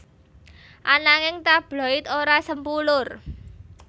Ananging tabloid ora sempulur